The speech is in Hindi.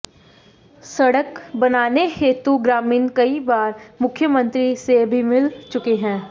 सड़क बनाने हेतु ग्रामीण कई बार मुख्यमंत्री से भी मिल चुके हैं